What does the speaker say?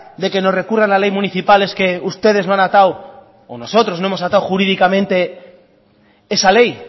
de que nos recurran la ley municipal es que ustedes no han atado o nosotros no hemos atado jurídicamente esa ley